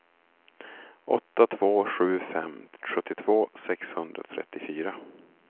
åtta två sju fem sjuttiotvå sexhundratrettiofyra